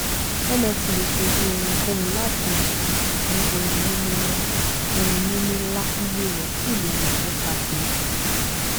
nft lè ṣojú ohunkóhun láti ìmọọnà sí ohunìní ńlá ohunìní ńlá iyì rẹ sì lè mọ nípasẹ ìrèdíi